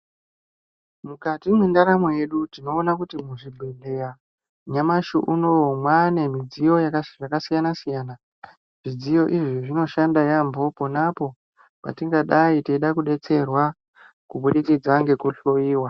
Mukati mwendaramo yedu, tinoona kuti muzvibhedhleya nyamashi unowu mwaane zvidziyo zvakasiyana-siyana. Zvidziyo izvi zvinoshanda yaampho ponapo patingadai teida kubetserwa kubudikidza ngekuhloiwa.